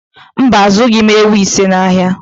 Mba, azụghị m ewu isii n'ahịa